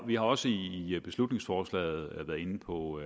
vi har også i i beslutningsforslaget været inde på